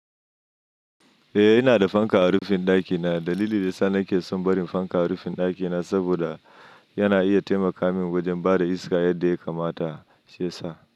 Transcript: Eh, ina da fanka a rufin dakina. Dalili da sa nake son barin fanka a rufin dakina saboda yana iya taimaka min wajen bada iska yadda ya kamata, shi yasa.